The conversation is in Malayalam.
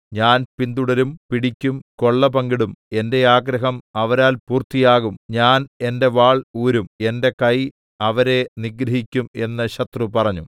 ഞാൻ പിന്തുടരും പിടിക്കും കൊള്ള പങ്കിടും എന്റെ ആഗ്രഹം അവരാൽ പൂർത്തിയാകും ഞാൻ എന്റെ വാൾ ഊരും എന്റെ കൈ അവരെ നിഗ്രഹിക്കും എന്ന് ശത്രു പറഞ്ഞു